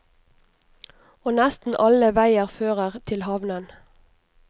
Og nesten alle veier fører til havnen.